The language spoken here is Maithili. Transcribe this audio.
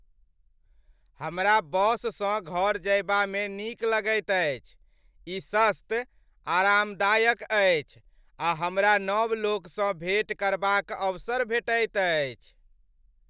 हमरा बससँ घर जयबामे नीक लगैत अछि। ई सस्त, आरामदायक अछि आ हमरा नव लोकसभसँ भेँट करबाक अवसर भेटैत अछि।